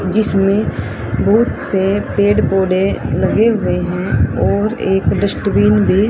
जिसमें बहुत से पेड़ पौधे लगे हुए हैं और एक डस्टबिन भी--